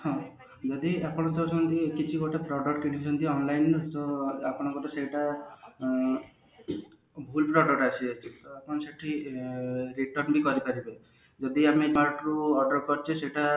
ହଁ ଯଦି ଆପଣ କିଛି ଗୋଟେ product ଯେମତିକି online ଆପଣଙ୍କର ସେଟା ଉଁ ଭୁଲ product ହେଇଛି ତ ଆପଣ ସେଠି return ବି କରିପାରିବେ ଯଦି ଆମେ ଅର୍ଡର କରିଛେ ସେଟା